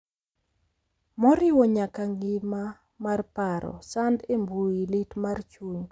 Moriwo nyaka ngima mar paro, sand e mbui, lit mar chuny,